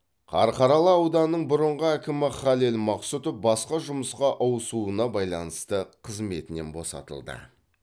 қарқаралы ауданының бұрынғы әкімі халел мақсұтов басқа жұмысқа ауысуына байланысты қызметінен босатылды